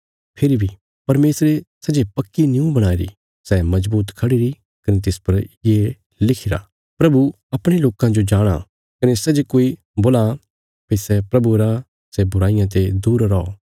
फेरी बी परमेशरे सै जे पक्की निऊं बणाईरी सै मजबूत खढ़ीरी कने तिस पर ये लिखिरा प्रभु अपणे लोकां जो जाणाँ कने सै जे कोई बोलां भई सै प्रभुये रा सै बुराईयां ते दूर रौ